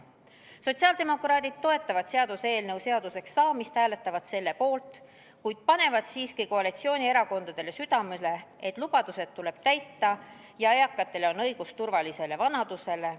Sotsiaaldemokraadid toetavad seaduseelnõu seaduseks saamist, hääletavad selle poolt, kuid panevad siiski koalitsioonierakondadele südamele, et lubadused tuleb täita ja eakatel on õigus turvalisele vanadusele.